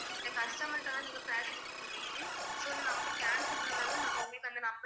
இந்த customer ட்ட தான் நீங்க பேசி இருக்க முடியும் so இந்த number cancel பன்னனாலத்தான் உங்களுக்கு நாங்க அந்த number